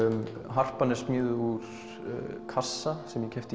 harpan er smíðuð úr kassa sem ég keypti